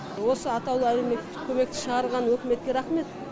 осы атаулы әлекметтік көмекті шығарған үкіметке рахмет